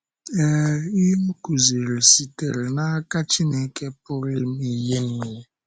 Ee, ihe ọ kụ̀ziri sitere n’aka Chineke Pụrụ Ịme Ihe Nile.